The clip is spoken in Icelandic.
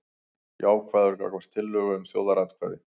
Jákvæður gagnvart tillögu um þjóðaratkvæði